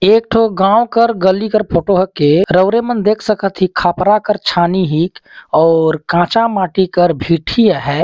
एक ठो गाव कर गली कर फोटो ह के रौरे मन देख सकत हे खपरा कर छानी हे और काचा माटी कर भीटी हैं।